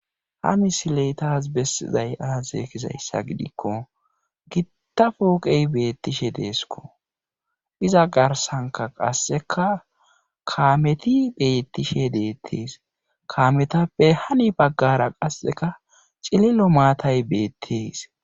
Ha misiley taas bessizay aaze gizayssa gidikko gitta pooqey beettishe deeskko iza garssankka kaameti beettishe dees kaametappe hani baggara qasseka cililo maatay beettees.